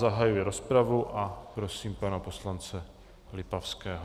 Zahajuji rozpravu a prosím pana poslance Lipavského.